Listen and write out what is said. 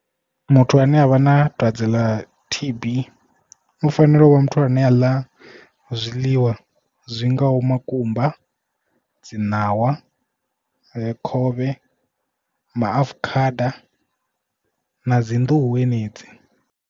Muthu ane avha na dwadze ḽa T_B u fanela u vha muthu ane a ḽa zwiḽiwa zwi ngaho makumba, dzi ṋawa, khovhe, maafukhada na dzi nḓuhu henedzi.